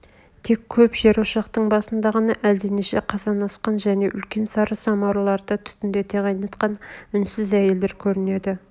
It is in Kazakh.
тек көп жерошақтың басында ғана әлденеше қазан асқан және үлкен сары самауырларды түтндете қайнатқан үнсіз әйелдер көрнеді